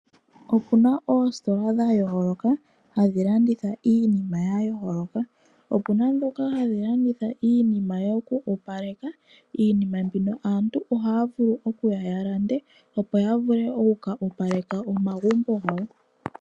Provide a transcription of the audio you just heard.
Opuna oositola dha yooloka hadhi landitha iinima ya yooloka. Opuna ndhoka hadhi landitha iinima yoku opaleka. Iinima mbino aantu ohaya vulu oku ya yalande opo ya vule oku ka opaleka omagumbo gawo.